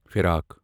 فیراک